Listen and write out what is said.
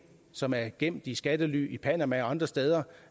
som er gemt i skattely i panama og andre steder